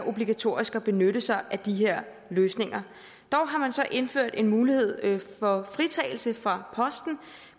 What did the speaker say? obligatorisk at benytte sig af de løsninger dog har man så indført en mulighed for fritagelse for posten